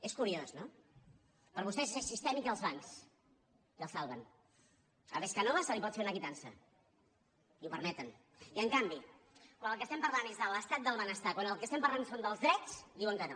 és curiós no per a vostès és sistèmic i els bancs i el salven a pescanova se li pot fer una quitança i ho permeten i en canvi quan del que estem parlant és de l’estat del benestar quan del que estem parlant és dels drets diuen que no